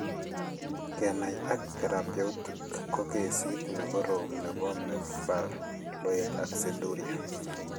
Kenai ak therapeutic ko kessit ne korom nebo mevaloate aciduria.